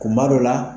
Kuma dɔ la